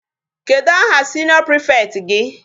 Kedụ aha senior prefect gị?